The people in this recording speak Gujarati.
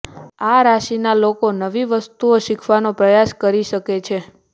આ રાશિના લોકો નવી વસ્તુઓ શીખવાનો પ્રયાસ કરી શકે છે